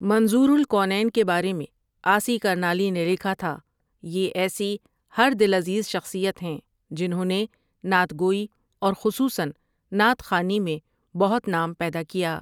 منظور الکونین کے بارے میں عاصی کرنالی نے لکھا تھا یہ ایسی ہر دلعزیز شخصیت ہیں جنہوں نے نعت گوئی اور خصوصاً نعت خوانی میں بہت نام پیدا کیا ۔